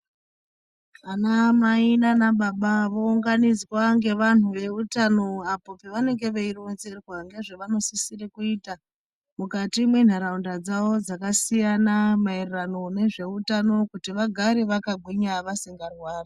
Anama nana baba vounganidzwa ngevanhu veutano apo pavanenge veironzerwa ngezvavanosisire kuita mukati mwenharaunda dzavo dzakasiyana maererano nezveutano kuti vagare vakagwinya vasingarwari